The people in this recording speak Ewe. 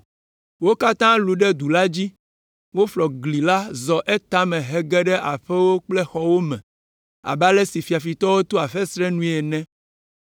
Wo katã lũ ɖe du la dzi; woflɔ gli la zɔ etame hege ɖe aƒewo kple xɔwo me abe ale si fiafitɔ toa fesre nue ene.